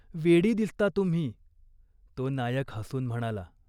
वेडी दिसता तुम्ही !" तो नायक हसून म्हणाला.